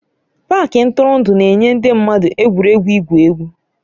Pááki ntụrụndụ na-enye ndị mmadụ egwuregwu igwu egwu